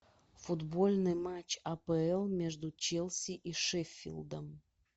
футбольный матч апл между челси и шеффилдом